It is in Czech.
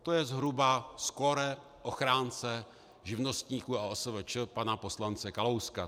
To je zhruba skóre ochránce živnostníků a OSVČ pana poslance Kalouska.